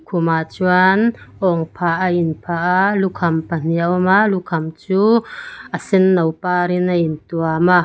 khumah chuan âwngphah a inphah a lukham pahnih a awm a lukham chu a sen no pârin a intuam a--